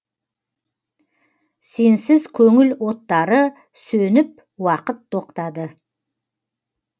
сенсіз көңіл оттары сөніп уақыт тоқтады